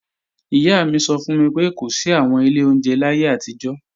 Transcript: Ìyá mi sọ fún mi pé kò sí àwọn ilé oúnjẹ láyé àtijọ́